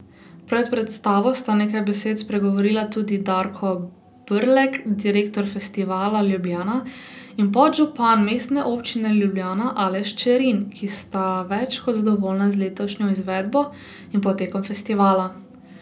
Pred predstavo sta nekaj besed spregovorila tudi Darko Brlek, direktor Festivala Ljubljana, in podžupan Mestne občine Ljubljana Aleš Čerin, ki sta več kot zadovoljna z letošnjo izvedbo in potekom festivala.